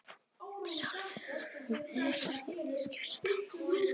En við Sölvi höfðum ekki enn skipst á númerum.